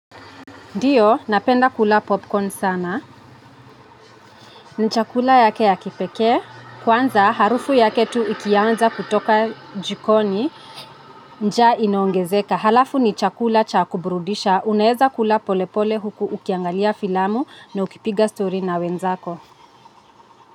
Ndiyo, napenda kula popcorn sana, ni chakula yake ya kipekee, kwanza harufu yake tu ikianza kutoka jikoni, njaa inaongezeka, halafu ni chakula cha kubrudisha, unaeza kula pole pole huku ukiangalia filamu na ukipiga story na wenzako.